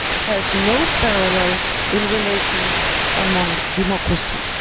has no parallel in relations among democracies.